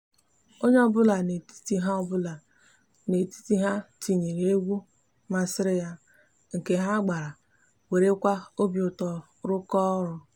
onye obula n'etiti ha obula n'etiti ha tinyere egwu masiri ya nke ha gbara werekwa obiuto rukoo oru